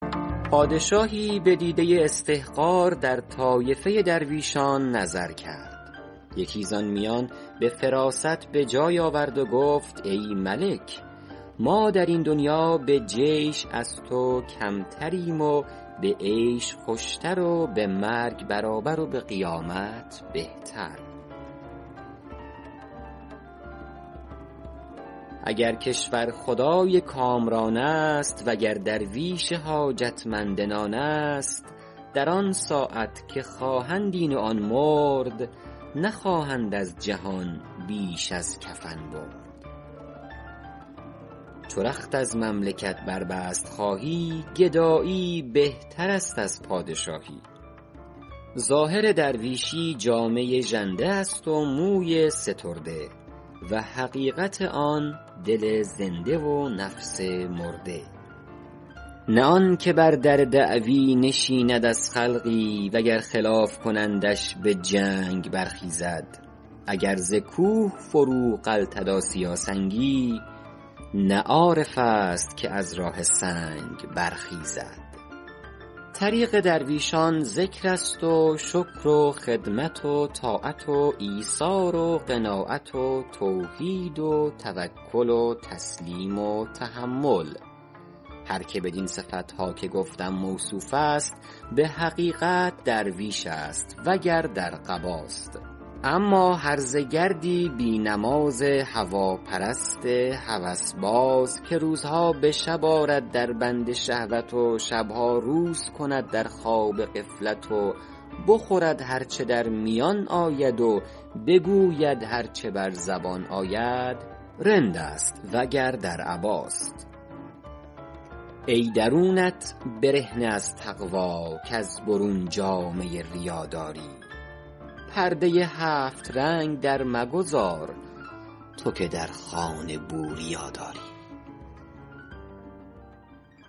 پادشاهی به دیده استحقار در طایفه درویشان نظر کرد یکی زآن میان به فراست به جای آورد و گفت ای ملک ما در این دنیا به جیش از تو کمتریم و به عیش خوشتر و به مرگ برابر و به قیامت بهتر اگر کشورخدای کامران است وگر درویش حاجت مند نان است در آن ساعت که خواهند این و آن مرد نخواهند از جهان بیش از کفن برد چو رخت از مملکت بربست خواهی گدایی بهتر است از پادشاهی ظاهر درویشی جامه ژنده است و موی سترده و حقیقت آن دل زنده و نفس مرده نه آنکه بر در دعوی نشیند از خلقی وگر خلاف کنندش به جنگ برخیزد اگر ز کوه فرو غلتد آسیا سنگی نه عارف است که از راه سنگ برخیزد طریق درویشان ذکر است و شکر و خدمت و طاعت و ایثار و قناعت و توحید و توکل و تسلیم و تحمل هر که بدین صفت ها که گفتم موصوف است به حقیقت درویش است وگر در قباست اما هرزه گردی بی نماز هواپرست هوس باز که روزها به شب آرد در بند شهوت و شب ها روز کند در خواب غفلت و بخورد هر چه در میان آید و بگوید هر چه بر زبان آید رند است وگر در عباست ای درونت برهنه از تقوی کز برون جامه ریا داری پرده هفت رنگ در مگذار تو که در خانه بوریا داری